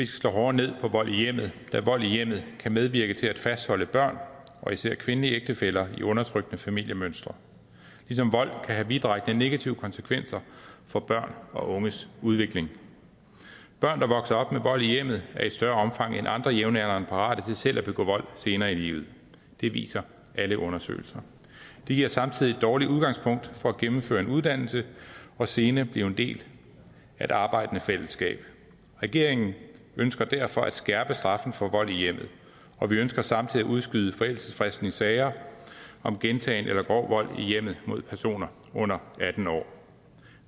slå hårdere ned på vold i hjemmet da vold i hjemmet kan medvirke til at fastholde børn og især kvindelige ægtefæller i undertrykkende familiemønstre ligesom vold kan have vidtrækkende negative konsekvenser for børn og unges udvikling børn der vokser op med vold i hjemmet er i større omfang end andre jævnaldrende parate til selv at begå vold senere i livet det viser alle undersøgelser det giver samtidig et dårligt udgangspunkt for at gennemføre en uddannelse og senere blive en del af et arbejdende fællesskab regeringen ønsker derfor at skærpe straffen for vold i hjemmet og vi ønsker samtidig at udskyde forældelsesfristen i sager om gentagen eller grov vold i hjemmet mod personer under atten år